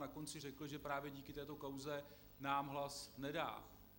Na konci řekl, že právě díky této kauze nám hlas nedá.